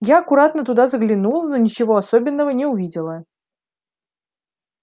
я аккуратно туда заглянула но ничего особенного не увидела